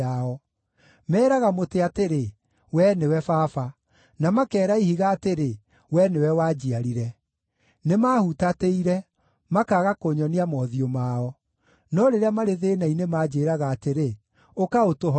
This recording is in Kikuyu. Meeraga mũtĩ atĩrĩ, ‘Wee nĩwe Baba,’ na makeera ihiga atĩrĩ, ‘Wee nĩwe wanjiarire.’ Nĩmahutatĩire, makaaga kũnyonia mothiũ mao; no rĩrĩa marĩ thĩĩna-inĩ manjĩĩraga atĩrĩ, ‘Ũka ũtũhonokie!’